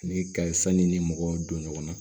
Ni ka sanni ni mɔgɔw don ɲɔgɔn na